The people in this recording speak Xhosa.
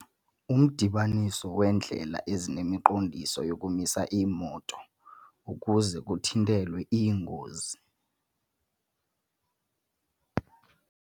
Umdibaniso weendlela ezine unemiqondiso yokumisa iimoto ukuze kuthintelwe iingozi.